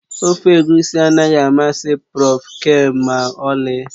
Ofe egusi anaghị amasị Prọf Ken ma ọlị